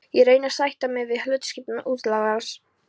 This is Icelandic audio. Ég reyni að sætta mig við hlutskipti útlagans.